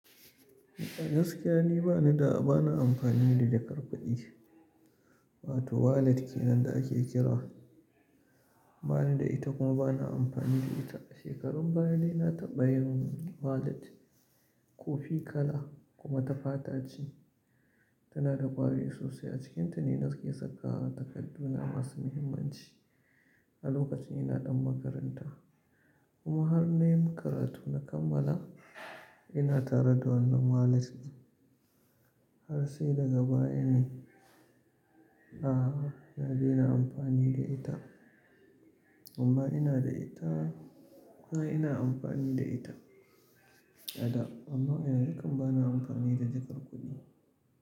Gaskiya ni ba ni da, bana amfani da jakar kudi, wato wallet kenan da ake kira. Ba ni da ita kuma bana amfani da ita. Shekarun baya dai na taɓa yin wallet, kofi kala kuma ta fata ce, tana da ƙwari sosai. A cikinta ne na ke saka takarduna masu muhimmanci a lokacin ina ɗan makaranta. Kuma har na yi makaratu na kammala, ina tare da wannan wallet har sai daga baya ne, a'a, na daina amfani da ita. Amma ina da ita. A'a, ina amfani da ita a da amma yanzu kam bana amfani da jakar kuɗi.